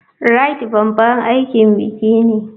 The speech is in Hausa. Rite babban aikin biki ne.